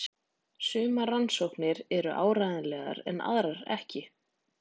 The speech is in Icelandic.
Sumar rannsóknirnar eru áreiðanlegar en aðrar ekki.